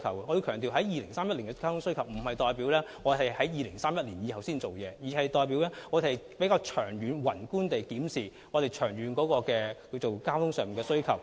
我要強調 ，2031 年的交通需求並不代表我們在2031年後才處理，而是我們會從長遠及宏觀的角度，檢視交通的長遠需求。